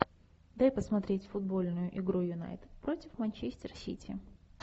дай посмотреть футбольную игру юнайтед против манчестер сити